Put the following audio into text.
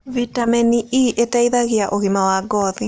Vĩtamenĩ E ĩteĩthagĩa ũgima wa ngothĩ